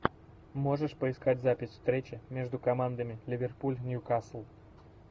можешь поискать запись встречи между командами ливерпуль ньюкасл